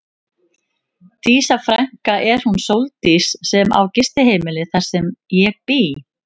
Dísa frænka er hún Sóldís sem á gistiheimilið þar sem ég bý.